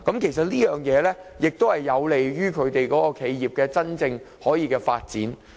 其實，德國的做法有利於企業的真正發展。